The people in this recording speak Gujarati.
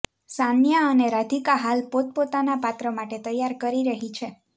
સાન્યા અને રાધિકા હાલ પોતપોતાના પાત્ર માટે તૈયારી કરી રહી છે